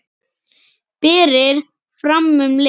Berið fram um leið.